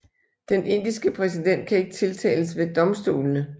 Den indiske præsident kan ikke tiltales ved domstolene